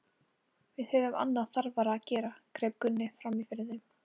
Við höfum annað þarfara að gera, greip Gunni fram í fyrir þeim.